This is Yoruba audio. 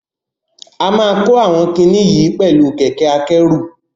A máa kó àwọn kiní yìí oẹ̀lú kẹ̀kẹ́ akẹ́rù.